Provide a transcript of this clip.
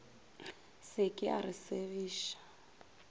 se ke a re segiša